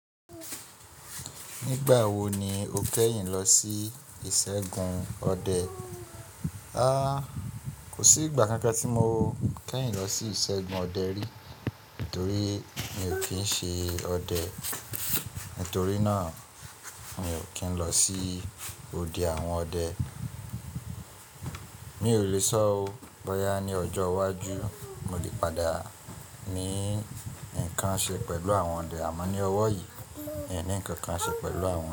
Nígbà wo ni o kẹ́yìn lọ sí ìṣẹ́gun ọdẹ? A! Kò sí ìgbà kankan tí mo kẹ́yìn lọ sí ìṣẹ́gun ọdẹ rí, torí mi ò kí ń ṣe ọdẹ. Nítorí náà mi ò kí ń lọ sí ode àwọn ọdẹ. Mi ò le sọ o, bóyá ní ọjọ́ iwájú mo lè padà ní nǹkan ṣe pẹ̀lú àwọn ọdẹ, àmọ́ ní ọwọ́ yìí, mi ò ní nǹkan kan ṣe pẹ̀lú àwọn ọdẹ.